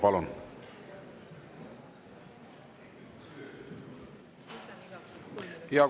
Palun!